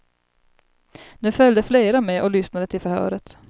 Nu följde flera med och lyssnade till förhöret.